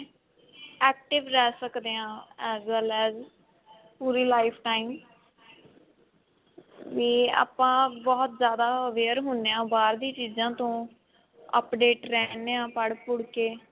active ਰਹਿ ਸਕਦੇ ਹਾਂ as well as ਪੂਰੀ life time ਵੀ ਆਪਾਂ ਬਹੁਤ ਜਿਆਦਾ aware ਹੁੰਦੇ ਹਾਂ ਬਾਹਰਲੀ ਚੀਜਾਂ ਤੋਂ update ਰਹਿਨੇ ਹਾਂ ਪੜ੍ਹ ਪੁੜ੍ਹ ਕੇ